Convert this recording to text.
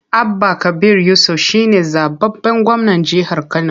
Abba Kabir Yusuf shi ne zaɓaɓɓen gwamnan jihar Kano.